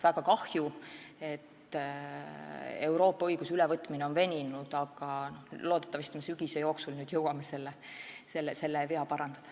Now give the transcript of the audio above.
Väga kahju, et Euroopa õiguse ülevõtmine on veninud, aga loodetavasti sügise jooksul jõuame selle vea parandada.